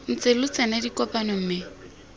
ntse lo tsena dikopano mme